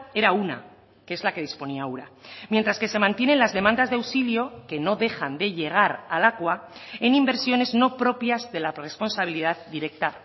era una que es la que disponía ura mientras que se mantienen las demandas de auxilio que no dejan de llegar a lakua en inversiones no propias de la responsabilidad directa